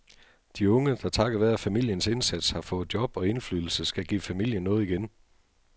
De unge, der takket være familiens indsats har fået job og indflydelse, skal give familien noget igen.